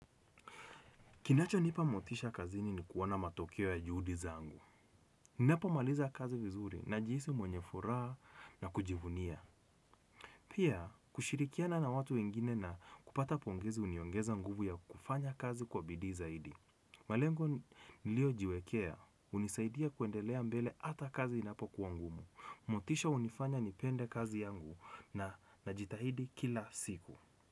Kinacho nipa motisha kazini ni kuona matokeo ya juhudi zangu. Ninapo maliza kazi vizuri na jihisi mwenye furaha na kujivunia. Pia kushirikiana na watu wengine na kupata pongezi uniongeza nguvu ya kufanya kazi kwa bidii zaidi. Malengo niliyo jiwekea unisaidia kuendelea mbele ata kazi inapo kuwa ngumu. Motisha unifanya nipende kazi yangu na najitahidi kila siku.